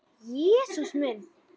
Jesús minn!